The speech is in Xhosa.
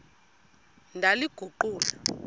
ndaliguqula